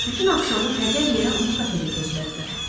Bütün axşamı hədər yerə onu kafedə gözlədilər.